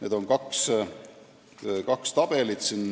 Eelnõus on kaks tabelit.